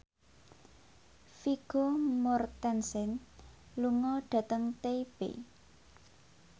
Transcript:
Vigo Mortensen lunga dhateng Taipei